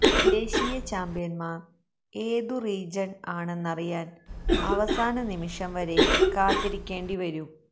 ദേശീയ ചാമ്പ്യന്മാര് ഏതു റീജണ് ആണെന്നറിയാന് അവസാന നിമിഷം വരെ കാത്തിരിക്കേണ്ടി വരും